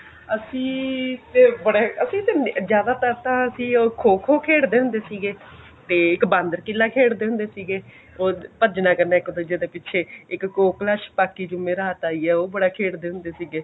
ਅਸੀਂ ਤਾ ਬੜੇ ਅਸੀਂ ਜਿਆਦਾਤਰ ਤਾਂ ਅਸੀਂ ਖੋ ਖੋ ਖੇਡਦੇ ਹੁੰਦੇ ਸੀਗੇ ਤੇ ਇੱਕ ਬਾਂਦਰ ਕਿਲਾ ਖੇਡਦੇ ਹੁੰਦੇ ਸੀਗੇ ਓਹ ਭਜਨਾ ਕਹਿੰਦੇ ਇੱਕ ਦੁੱਜੇ ਦੇ ਪਿੱਛੇ ਇੱਕ ਕੋਕਲਾ ਚ ਪਾਕੀ ਜਿਵੇਂ ਰਾਤ ਆਈ ਹੈ ਉਹ ਬੜਾ ਖੇਡਦੇ ਹੁੰਦੇ ਸੀਗੇ